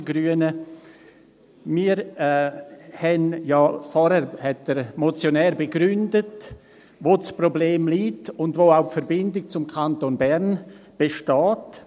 Der Motionär hat ja vorhin begründet, wo das Problem liegt und wo auch die Verbindung zum Kanton Bern besteht.